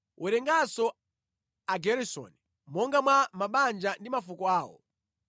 “Werenganso Ageresoni monga mwa mabanja ndi mafuko awo.